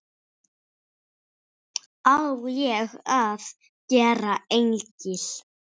Á ég að gera engil?